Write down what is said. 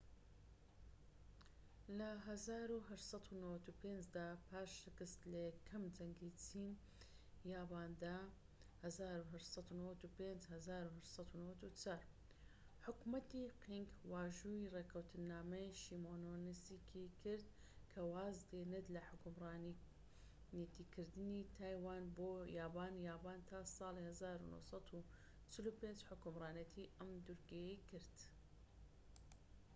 لە ١٨٩٥ دا پاش شکست لە یەکەم جەنگی چین-یاباندا ١٨٩٤-١٨٩٥ حکومەتی قینگ واژۆی ڕێکەوتنامەی شیمۆنۆسێکی کرد کە واز دێنێت لە حوکمڕانێتیکردنی تایوان بۆ یابان، یابان تا ساڵی ١٩٤٥ حوکمڕانێتی ئەم دورگەیەی کرد